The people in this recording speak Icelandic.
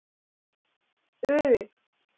U